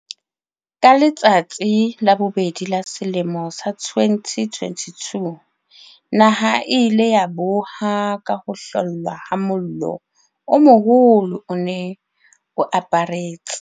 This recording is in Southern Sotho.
Ka letsatsi la bobedi la selemo sa 2022, naha e ile ya boha ka ho hlollwa ha mollo o moholo o ne o aparetse